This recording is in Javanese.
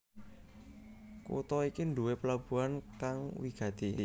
Kutha iki nduwé pelabuhan kang wigati